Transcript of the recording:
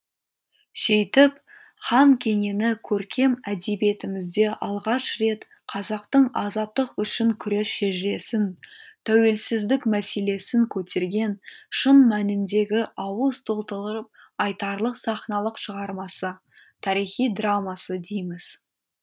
сөйтіп хан кенені көркем әдебиетімізде алғаш рет қазақтың азаттық үшін күрес шежіресін тәуелсіздік мәселесін көтерген шын мәніндегі ауыз толтырып айтарлық сахналық шығармасы тарихи драмасы дейміз